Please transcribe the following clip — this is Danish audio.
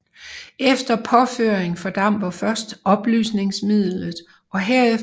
Efter påføring fordamper først opløsningsmidlet og herefter går selve den oxidative hærdning i gang